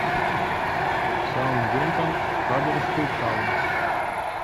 саутгемптон хаддерсфилд таун